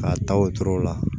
K'a taa wotoro la